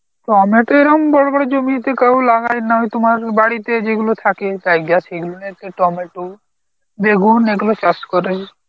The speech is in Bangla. টমেটো এরাম বড় বড় জমিতে কারোর লাগায় না ওই তোমার বাড়িতে যেগুলো থাকে তাই সেগুলো টমেটো বেগুন এগুলো চাষ করে.